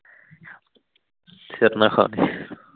ਸਿਰ ਨਾ ਖਾ